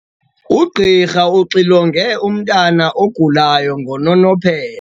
Ugqirha uxilonge umntwana ogulayo ngononophelo.